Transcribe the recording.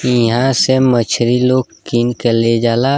ईहां से मछरी लोग किन के ले जाला।